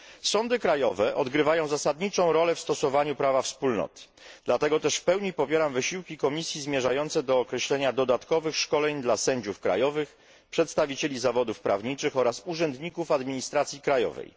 Sądy krajowe odgrywają zasadniczą rolę w stosowaniu prawa Wspólnoty, dlatego też w pełni popieram wysiłki Komisji zmierzające do określenia dodatkowych szkoleń dla sędziów krajowych, przedstawicieli zawodów prawniczych oraz urzędników administracji krajowej.